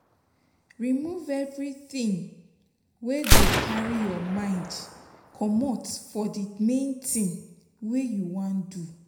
Remove everything wey go carry your mind comot for the main thing wey you wan do